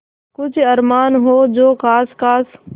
कुछ अरमान हो जो ख़ास ख़ास